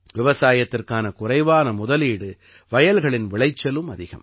விவசாயத்திற்கான குறைவான முதலீடு வயல்களின் விளைச்சலும் அதிகம்